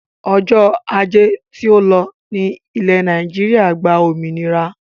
Ọjọ́ ajé to lọ ní ilẹ́ Nàìjíríà gba òmìnira.